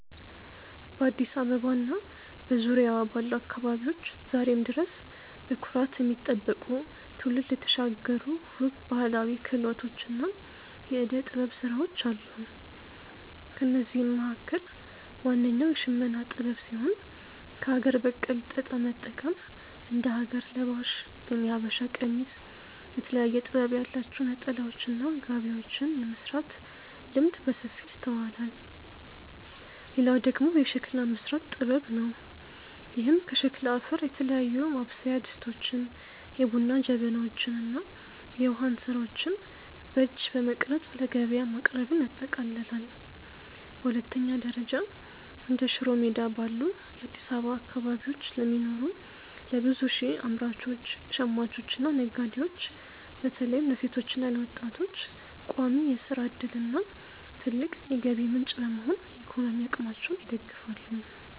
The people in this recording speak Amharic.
በአዲስ አበባ እና በዙሪያዋ ባሉ አካባቢዎች ዛሬም ድረስ በኩራት የሚጠበቁ፣ ትውልድ የተሻገሩ ውብ ባህላዊ ክህሎቶችና የዕደ-ጥበብ ሥራዎች አሉ። ከእነዚህም መካከል ዋነኛው የሽመና ጥበብ ሲሆን፣ ከአገር በቀል ጥጥ በመጠቀም እንደ ሀገር ለባሽ (የሀበሻ ቀሚስ)፣ የተለያየ ጥበብ ያላቸው ነጠላዎችና ጋቢዎችን የመሥራት ልምድ በሰፊው ይስተዋላል። ሌላው ደግሞ የሸክላ መሥራት ጥበብ ነው፤ ይህም ከሸክላ አፈር የተለያዩ ማብሰያ ድስቶችን፣ የቡና ጀበናዎችን እና የውሃ እንስራዎችን በእጅ በመቅረጽ ለገበያ ማቅረብን ያጠቃልላል። በሁለተኛ ደረጃ፣ እንደ ሽሮ ሜዳ ባሉ የአዲስ አበባ አካባቢዎች ለሚኖሩ ለብዙ ሺህ አምራቾች፣ ሽማኞችና ነጋዴዎች (በተለይም ለሴቶችና ለወጣቶች) ቋሚ የሥራ ዕድልና ትልቅ የገቢ ምንጭ በመሆን የኢኮኖሚ አቅማቸውን ይደግፋሉ።